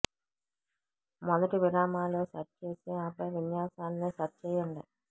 మొదటి విరామాలు సెట్ చేసి ఆపై విన్యాసాన్ని సెట్ చేయండి